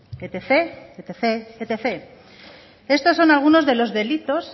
etcétera etcétera estos son algunos de los delitos